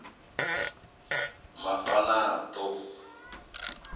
mafanato